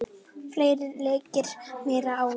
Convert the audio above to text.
Fleiri leikir, meira álag.